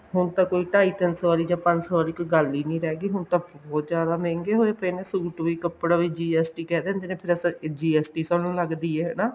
ਹੁਣ ਤਾਂ ਕੋਈ ਢਾਈ ਤਿੰਨ ਸੋ ਆਲੀ ਜਾ ਪੰਜ ਸੋ ਆਲੀ ਕੋਈ ਗੱਲ ਹੀ ਨੀ ਰਹਿ ਗਈ ਹੁਣ ਤਾਂ ਬਹੁਤ ਜਿਆਦਾ ਮਹਿੰਗੇ ਹੋਏ ਪਏ ਨੇ suit ਵੀ ਕੱਪੜਾ ਵੀ GST ਕਹਿ ਦਿੰਦੇ ਨੇ ਫੇਰ ਆਪਾਂ GST ਤੁਹਾਨੂੰ ਲੱਗਦੀ ਐ ਹਨਾ